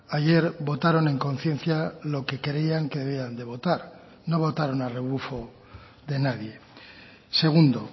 ayer votaron en conciencia lo que creían que debían de votar no votaron a rebufo de nadie segundo